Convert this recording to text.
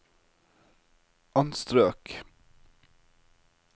anstrøk